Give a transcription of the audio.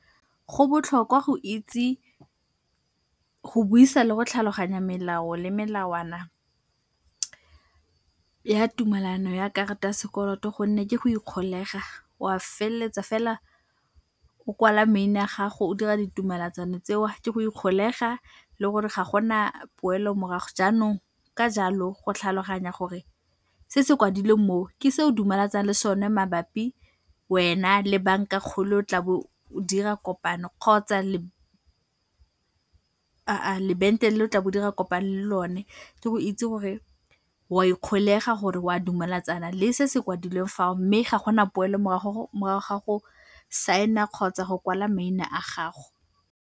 Go botlhokwa go itse go buisa le go tlhaloganya melao le melawana ya tumalano ya karta ya sekoloto gonne ke go ikgolega, wa feleletsa fela o kwala maina a gago o dira ditumalatsano tseo, ke go ikgolega le gore ga gona poelo-morago. Jaanong ka jalo, go tlhaloganya gore se se kwadilweng mo, ke se o dumalatsanang le sone mabapi wena le banka-kgolo tlabo o dira kopano kgotsa lo o tlabo o dira kopano le lone, ke go itse gore o a ikgolega gore o a dumalatsana le se se kwadilweng fao mme ga gona poelo-morago morago ga go sign-a kgotsa go kwala maina a gago.